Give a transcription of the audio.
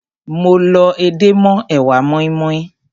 Mo lọ edé mọ́ èwà moinmoin.